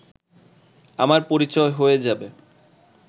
আমার পরিচয় হয়ে যাবে